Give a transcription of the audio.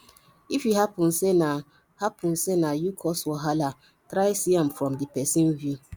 if e hapun sey na hapun sey na yu cause wahala try see am from di pesin view